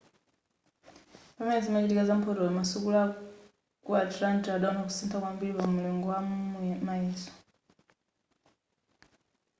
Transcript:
pamene zimachitika za mphotoyo masukulu aku atlanta adawona kusintha kwambiri pa mulingo wa mayeso